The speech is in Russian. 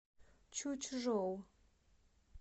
чучжоу